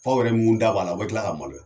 Aw yɛrɛ mun da b'a la , a be kila ka maloya.